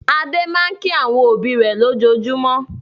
Adé máa ń kí àwọn òbí lójoojúmọ́.